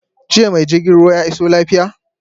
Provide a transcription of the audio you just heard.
Jiya ma jirgin ruwa ya iso lafiya?